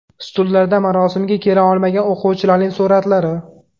Stullarda marosimga kela olmagan o‘quvchilarning suratlari.